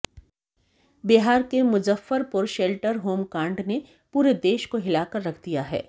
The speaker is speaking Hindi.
बिहार के मुज्जफरपुर शेल्टर होम कांड ने पूरे देश को हिलाकर रख दिया है